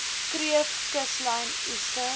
kreef kuslyn oester